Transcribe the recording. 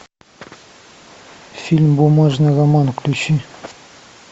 фильм бумажный роман включи